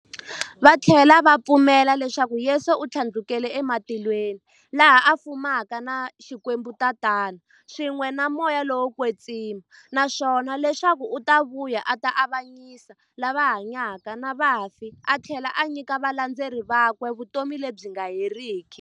Vathlela va pfumela leswaku Yesu u thlandlukele e matilweni, laha a fumaka na Xikwembu-Tatana, swin'we na Moya lowo kwetsima, naswona leswaku u ta vuya a ta avanyisa lava hanyaka na vafi athlela a nyika valandzeri vakwe vutomi lebyi nga heriki.